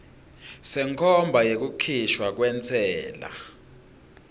senkhomba yekukhishwa kwentsela